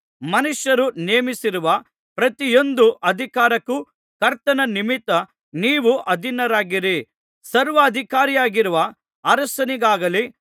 ಮನುಷ್ಯರು ನೇಮಿಸಿರುವ ಪ್ರತಿಯೊಂದು ಅಧಿಕಾರಕ್ಕೂ ಕರ್ತನ ನಿಮಿತ್ತ ನೀವು ಅಧೀನರಾಗಿರಿ ಸರ್ವಾಧಿಕಾರಿಯಾಗಿರುವ ಅರಸನಿಗಾಗಲಿ